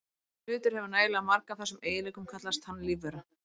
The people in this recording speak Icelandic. Ef hlutur hefur nægilega marga af þessum eiginleikum kallast hann lífvera.